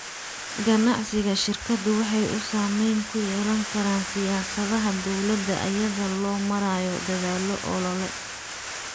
Ganacsiga shirkadu waxa uu saamayn ku yeelan karaa siyaasadaha dawladda iyada oo loo marayo dadaallo olole.